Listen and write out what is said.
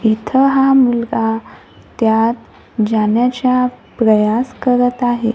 इथं हा मुलगा त्यात जाण्याच्या प्रयास करत आहे.